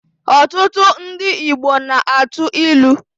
Ọtụtụ ndị Igbo na-atụ ilu.